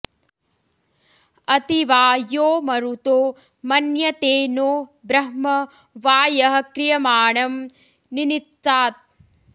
अति॑ वा॒ यो म॑रुतो॒ मन्य॑ते नो॒ ब्रह्म॑ वा॒ यः क्रि॒यमा॑णं॒ निनि॑त्सात्